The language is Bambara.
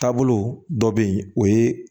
Taabolo dɔ bɛ yen o ye